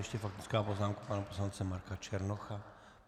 Ještě faktická poznámka pana poslance Marka Černocha.